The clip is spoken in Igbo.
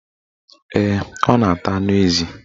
Ee, ọ na-ata anụ ezi